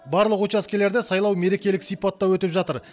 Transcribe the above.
барлық учаскелерде сайлау мерекелік сипатта өтіп жатыр